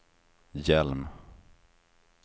Hjelm